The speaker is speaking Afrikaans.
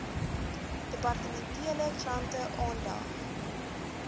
departementele klante aandag